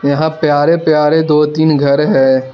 यहां प्यारे प्यारे दो तीन घर है।